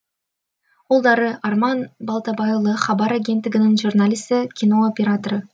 ұлдары арман балтабайұлы хабар агенттігінің журналисі кино операторы